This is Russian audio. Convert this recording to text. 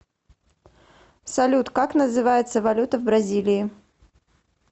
салют как называется валюта в бразилии